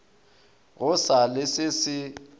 go sa le se se